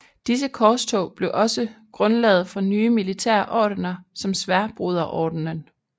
Disse korstog blev også grundlaget for nye militære ordener som Sværdbroderordenen